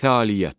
Fəaliyyət.